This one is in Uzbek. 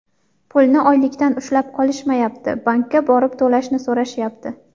Pulni oylikdan ushlab qolishmayapti, bankka borib to‘lashni so‘rashyapti”.